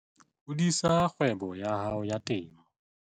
Hodisa kgwebo ya hao ya temo